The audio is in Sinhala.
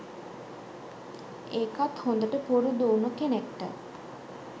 ඒකත් හොදට පුරුදු උණු කෙනෙක්ට